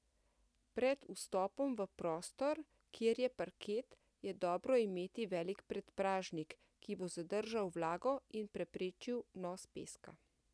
Pred vstopom v prostor, kjer je parket, je dobro imeti velik predpražnik, ki bo zadržal vlago in preprečil vnos peska.